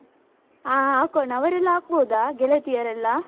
ಹಾ ಹಾಕೋಣ, ಅವರೆಲ್ಲ ಹಾಕ್ಬೋದ ಗೆಳತಿಯರೆಲ್ಲಾ?